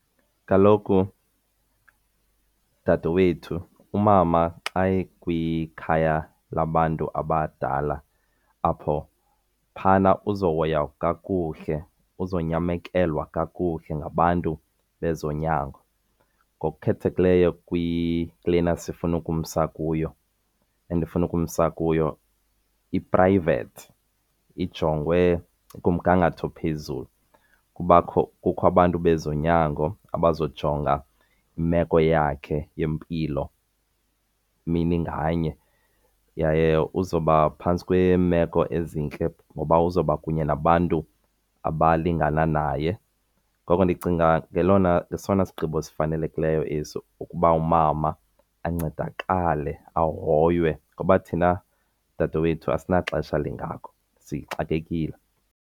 Kaloku dadewethu, umama xa ekwikhaya labantu abadala apho phana uzohoywa kakuhle, uzonyamekelwa kakuhle ngabantu bezonyango. Ngokukhethekileyo kulena sifuna ukumsa kuyo, endifuna ukumsa kuyo, i-private, ijongwe kumgangatho ophezulu. Kukho abantu bezonyango abazojonga imeko yakhe yempilo mini nganye yaye uzoba phantsi kweemeko ezintle ngoba uzoba kunye nabantu abalingana naye. Ngoko ndicinga sesona sigqibo sifanelekileyo esi ukuba umama ancedakale ahoywe ngoba thina dadewethu asinaxesha lingako, sixakekile.